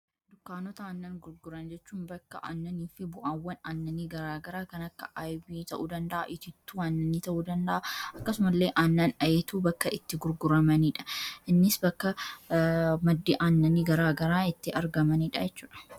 dunkaanota aannan gurguran jechuun bakka aannanii fi bu'awwan aannanii garaagaraa kan akka urgoo ta'uu danda'a itittuu annanii ta'uu danda'a akkasuma illee annan ayeetuu bakka itti gurguramaniidha innis bakka maddi annanii garaagaraa itti argamaniidha jechuudha